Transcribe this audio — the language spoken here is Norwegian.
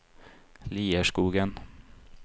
Lierskogen